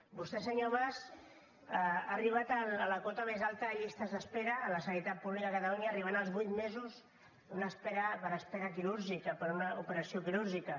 vostè senyor mas ha arribat a la cota més alta de llistes d’espera a la sanitat pública a catalunya arribant als vuit mesos per espera quirúrgica per una operació quirúrgica